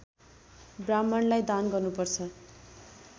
ब्राह्मणलाई दान गर्नुपर्छ